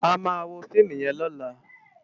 Àmá wó fiimú yèn lòlá